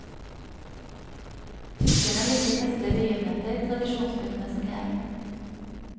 Tyskerne liker festlige begivenheter, tradisjonsbundne som de er.